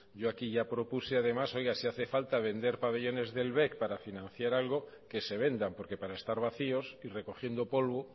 yo aquí ya propuse además si hace falta vender pabellones del bec para financiar algo que se vendan por que para estar vacíos y recogiendo polvo